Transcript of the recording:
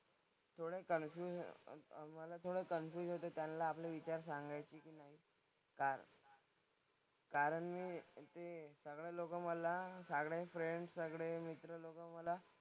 थोडे कन्फ्युज अह मला थोडं कन्फ्युज होते त्यांना आपले विचार सांगायची कारण, कारण मी ते सगळे लोकं मला सगळे फ्रेंड्स सगळे मित्र लोकं मला,